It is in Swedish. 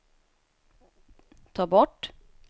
ta bort